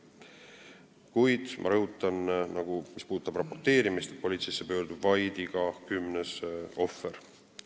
Kuid ma rõhutan, et mis puudutab raporteerimist, siis politseisse pöördub vaid iga kümnes ohver.